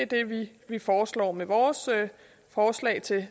det er det vi foreslår med vores forslag til